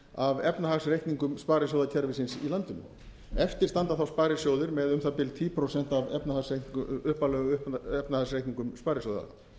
af efnahagsreikningum sparisjóðakerfisins í landinu eftir standa sparisjóðir með um það bil tíu prósent af upphaflegum efnahagsreikningum sparisjóða